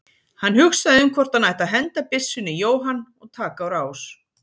Hann hugsaði um hvort hann ætti að henda byssunni í Jóhann og taka á rás.